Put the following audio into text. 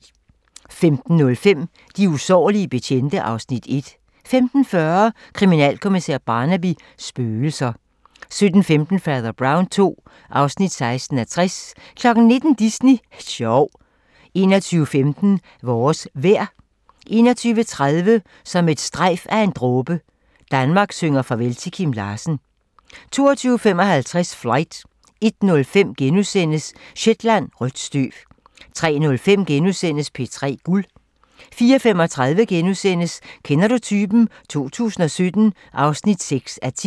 15:05: De usårlige betjente (Afs. 1) 15:40: Kriminalkommissær Barnaby: Spøgelser 17:15: Fader Brown II (16:60) 19:00: Disney sjov 21:15: Vores vejr 21:30: Som et strejf af en dråbe - Danmark synger farvel til Kim Larsen 22:55: Flight 01:05: Shetland: Rødt støv * 03:05: P3 Guld * 04:35: Kender du typen? 2017 (6:10)*